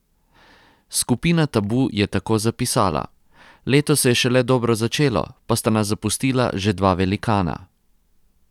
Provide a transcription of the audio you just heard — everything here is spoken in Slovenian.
Skupina Tabu je tako zapisala: 'Leto se je šele dobro začelo, pa sta nas zapustila že dva velikana.